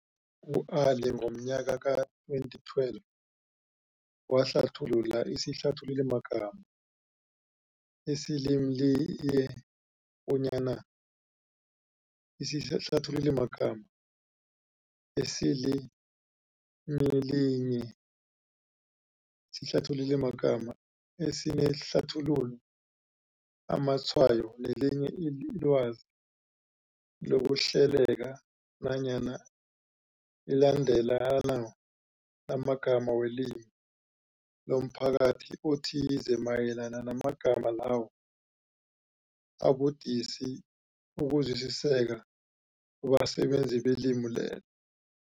U-Ali ngomnyaka ka-2012 wahlathulula isihlathululimagama esilimilinye bonyana, isihlathululimagama esilimilinye sihlathululimagama esinehlathululo, amatshwayo nelinye ilwazi lokuhleleka nanyana ilandelano lamagama welimi lomphakathi othize mayelana namagama lawo abudisi ukuzwisiseka kubasebenzisi belimi lelo.